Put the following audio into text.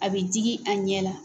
A bɛ digi a ɲɛ la.